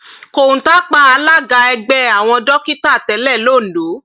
kọńtà pa alága ẹgbẹ àwọn dókítà tẹlẹ londo